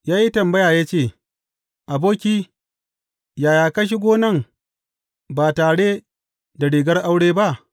Ya yi tambaya ya ce, Aboki, yaya ka shigo nan ba tare da rigar aure ba?’